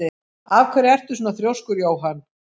Af hverju ertu svona þrjóskur, Jóann?